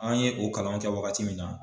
An ye o kalan kɛ waagati min na.